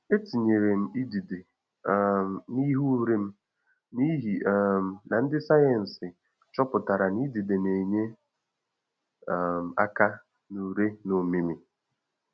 Etinyere m idide um n'ihe ure m n'ihi um na ndị sayensị chọpụtara na idide na enye um aka na ure na ọmịmị